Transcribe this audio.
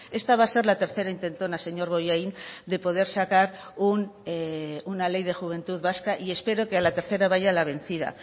esta va a ser la tercera intentona señor bollain de poder sacar una ley de juventud vasca y espero que a la tercera vaya la vencida